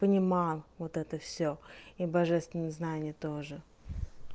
понимаю вот это всё и божественное знание тоже